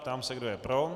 Ptám se, kdo je pro.